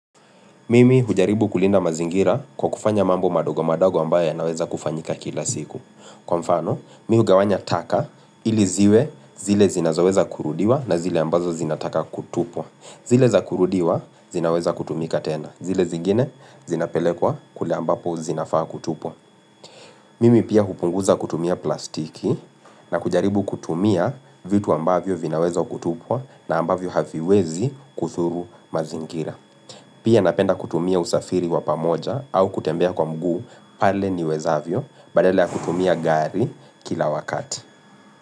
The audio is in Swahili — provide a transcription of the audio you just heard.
Mimi hujaribu kulinda mazingira kwa kufanya mambo madogo madogo ambayo yanaweza kufanyika kila siku. Kwa mfano, mi hugawanya taka ili ziwe zile zinazoweza kurudiwa na zile ambazo zinataka kutupwa. Zile za kurudiwa zinaweza kutumika tena. Zile zingine zinapelekwa kule ambapo zinafaa kutupwa. Mimi pia hupunguza kutumia plastiki na kujaribu kutumia vitu ambavyo vinawezwa kutupwa na ambavyo haviwezi kudhuru mazingira. Pia napenda kutumia usafiri wa pamoja au kutembea kwa mguu pale niwezavyo Badala ya kutumia gari kila wakati.